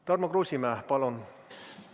Tarmo Kruusimäe, palun!